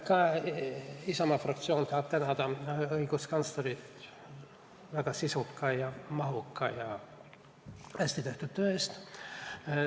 Ka Isamaa fraktsioon tahab tänada õiguskantslerit väga sisuka, mahuka ja hästi tehtud töö eest.